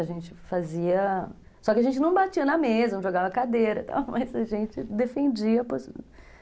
A gente fazia... Só que a gente não batia na mesa, não jogava cadeira, mas a gente defendia a possibilidade.